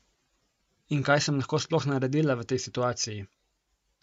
In kaj sem lahko sploh naredila v tej situaciji?